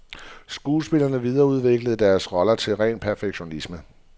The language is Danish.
Skuespillerne videreudviklede deres roller til ren perfektion.